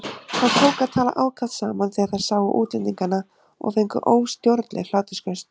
Þær tóku að tala ákaft saman þegar þær sáu útlendingana og fengu óstjórnleg hlátursköst.